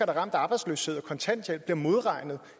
er ramt af arbejdsløshed og kontanthjælp bliver modregnet